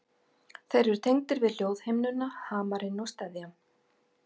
Þeir eru tengdir við hljóðhimnuna, hamarinn og steðjann.